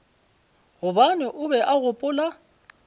gobane o be a gopola